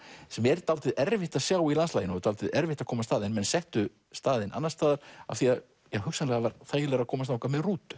sem er dálítið erfitt að sjá í landslaginu og dálítið erfitt að komast að en menn settu staðinn annars staðar því hugsanlega var þægilegra að komast þangað með rútu